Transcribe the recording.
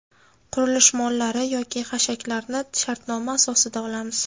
Qurilish mollari yoki hashaklarni shartnoma asosida olamiz.